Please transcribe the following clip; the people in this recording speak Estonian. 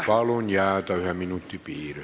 Palun jääda ühe minuti piiresse!